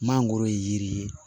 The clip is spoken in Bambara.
Mangoro ye yiri ye